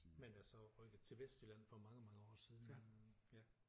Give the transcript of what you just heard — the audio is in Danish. Men altså rykket til Vestjylland for mange mange år siden ja